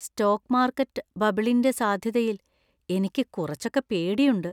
Stock market ബബിളിന്‍റെ സാധ്യതയിൽ എനിക്ക് കുറച്ചൊക്കെ പേടിയുണ്ട്.